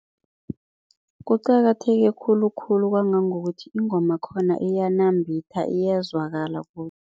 Kuqakatheke khulukhulu kwangangokuthi ingoma khona iyanambitha, iyazwakala